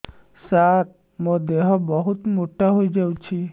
ସାର ମୋର ଦେହ ବହୁତ ମୋଟା ହୋଇଯାଉଛି